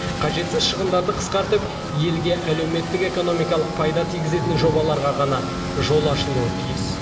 қажетсіз шығындарды қысқартып елге әлеуметтік экономикалық пайда тигізетін жобаларға ғана жол ашылуы тиіс